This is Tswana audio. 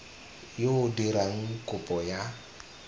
yo o dirang kopo ya